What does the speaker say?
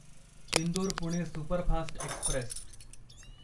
Indore Pune superfast Express